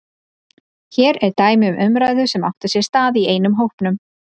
Hér er dæmi um umræðu sem átti sér stað í einum hópnum